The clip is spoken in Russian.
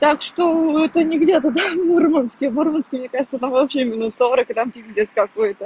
так что это не где-то это мурманск в мурманске мне кажется вообще минус сорок и там пиздец какой-то